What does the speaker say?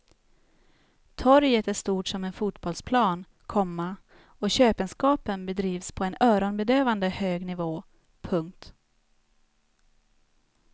Torget är stort som en fotbollsplan, komma och köpenskapen bedrivs på en öronbedövande hög nivå. punkt